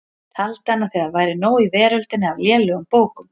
Taldi hann að þegar væri nóg í veröldinni af lélegum bókum.